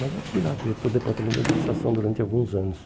Mas eu fui lá diretor do departamento de administração durante alguns anos.